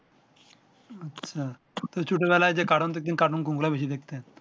আচ্ছা ছোট বেলায় যে কাটুন দেখতেন কাটুন কোনগুলো বেশি দেখতেন